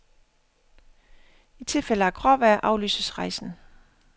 I tilfælde af gråvejr aflyses rejsen.